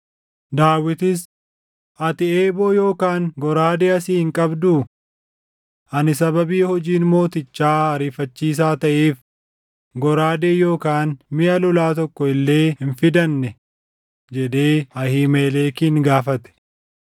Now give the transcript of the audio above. Daawitis, “Ati eeboo yookaan goraadee asii hin qabduu? Ani sababii hojiin mootichaa ariifachiisaa taʼeef goraadee yookaan miʼa lolaa tokko illee hin fidannee?” jedhee Ahiimelekin gaafate.